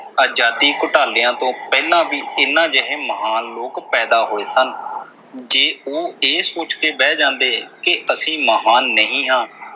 ਆਜ਼ਾਦੀ ਘੁਟਾਲਿਆਂ ਤੋਂ ਪਹਿਲਾਂ ਵੀ ਇਨ੍ਹਾਂ ਜਿਹੇ ਮਹਾਨ ਲੋਕ ਪੈਦਾ ਹੋਏ ਸਨ ਜੇ ਉਹ ਇਹ ਸੋਚ ਕੇ ਬਹਿ ਜਾਂਦੇ ਕਿ ਅਸੀਂ ਮਹਾਨ ਨਹੀਂ ਹਾਂ।